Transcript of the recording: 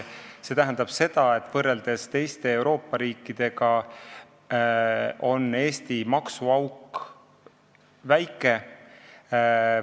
See tähendab, et võrreldes teiste Euroopa riikidega on Eesti maksuauk väike.